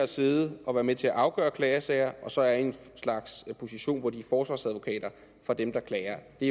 sidde og være med til at afgøre klagesager og så er i en position hvor de er forsvarsadvokater for dem der klager det